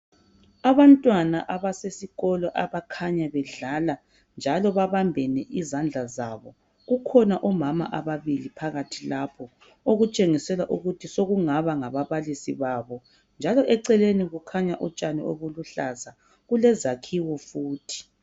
Abantwana abasesikolo abakhanya bedlala, njalo babambene izandla zabo. Kukhona omama ababili phakathi lapho, okutshengisela ukuthi sokungaba ngababalisi babo. Njalo eceleni kukhanya utshani obuluhlaza. Kulezakhiwo futhi.